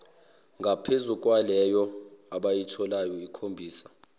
ngaphezukwaleyo abayitholayo ikhombisa